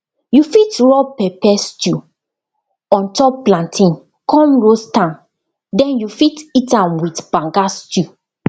you fit rub pepper stew on top plantain con roast am den you fit eat am with banga stew